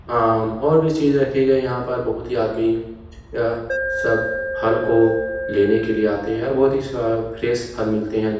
आम और भी चीजें रखी गई हैं। यहाँ पर बहोत ही आदमी अ सब फल को लेने के लिए आते हैं और बहोत ही स्व फ्रेश फल मिलते हैं।